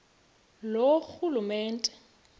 loorhulumente